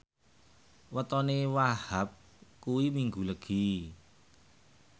wetone Wahhab kuwi Minggu Legi